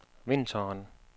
vinteren